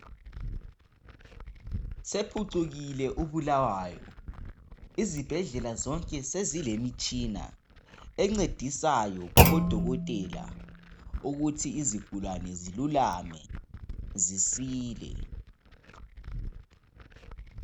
sephucukile u Bulawayo izibhedlela zonke sezilemitshina encedisayo kubo dokotela ukuthi izigulane zilulame zisile